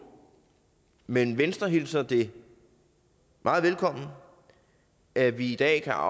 men venstre hilser det meget velkommen at vi i dag kan